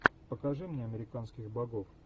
покажи мне американских богов